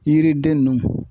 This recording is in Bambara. Yiriden ninnu.